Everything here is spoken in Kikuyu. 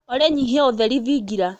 olly nyĩhĩa ũtherĩ thĩngĩra